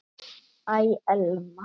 Æ, Elma.